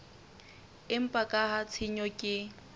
empa ka ha tshenyo ke